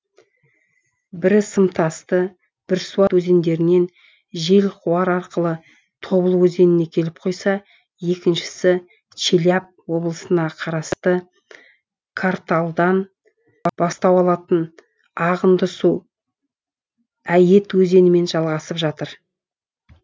бірі сымтасты бірсуат өзендерінен желқуар арқылы тобыл өзеніне келіп құйса екіншісі челябі облысына қарасты карталыдан бастау алатын ағынды су әйет өзенімен жалғасып жатыр